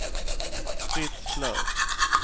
Fritz Löf